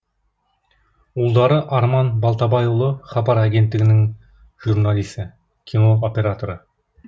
ұлдары арман балтабайұлы хабар агенттігінің журналисі кино операторы